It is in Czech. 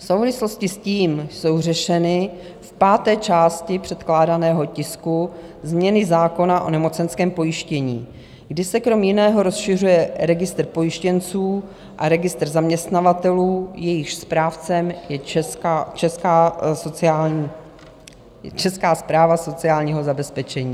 V souvislosti s tím jsou řešeny v páté části předkládaného tisku změny zákona o nemocenském pojištění, kdy se kromě jiného rozšiřuje registr pojištěnců a registr zaměstnavatelů, jejichž správcem je Česká správa sociálního zabezpečení.